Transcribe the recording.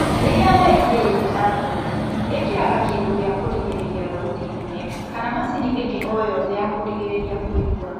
Rĩrĩa weingĩrania na na thauti , ĩkĩraga kĩndũ gĩa kũrigĩrĩria thauti nene kana macini ĩngĩ oyothe ya kũrigĩrĩria kũigua